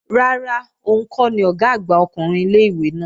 Rárá, òun kọ́ ni Ọ̀gá àgbà ọkùnrin ilé-ìwé náà